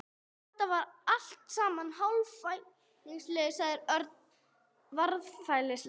Þetta var allt saman hálfhallærislegt sagði Örn varfærnislega.